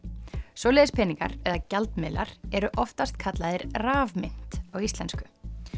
svoleiðis peningar eða gjaldmiðlar eru oftast kallaðir rafmynt á íslensku